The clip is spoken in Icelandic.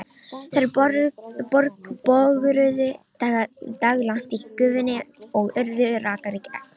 Þær bogruðu daglangt í gufunni og urðu rakar í gegn.